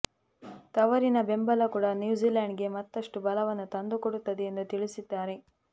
ತವರಿನ ಬೆಂಬಲ ಕೂಡಾ ನ್ಯೂಜಿಲೆಂಡ್ಗೆ ಮತ್ತಷ್ಟು ಬಲವನ್ನು ತಂದುಕೊಡುತ್ತದೆ ಎಂದು ತಿಳಿಸಿದ್ದಾರೆ